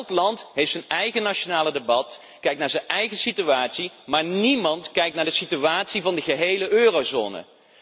Elk land heeft zijn eigen nationale debat, kijkt naar zijn eigen situatie, maar niemand kijkt naar de situatie van de gehele eurozone.